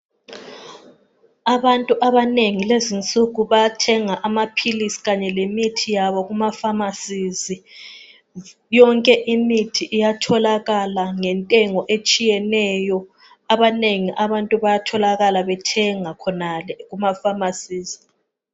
Abantu abanengi lezinsuku bayathenga amaphilisi kanye lemithi yabo kumafamasizi yonke imithi iyatholakala ngentengo etshiyeneyo abanengi abantu bayatholakala bethenga khonale kumafamasizi.